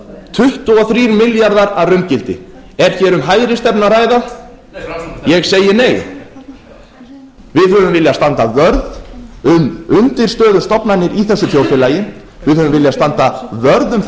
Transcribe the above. tuttugu og þrír milljarðar að raungildi er hér um hægri stefnu að ræða ég segi nei við höfum viljað standa vörð um undirstöðustofnanir í þessu þjóðfélagi við höfum viljað standa vörð um þá